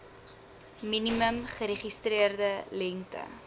minimum geregistreerde lengte